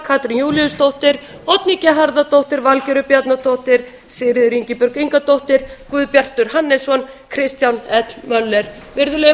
katrín júlíusdóttir oddný g harðardóttir valgerður bjarnadóttir sigríður ingibjörg ingadóttir guðbjartur hannesson kristján l möller virðulegi